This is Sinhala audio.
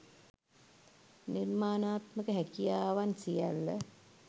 නිර්මාණාත්මක හැකියාවන් සියල්ල